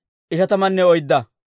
Imeera yaratuu 1,052;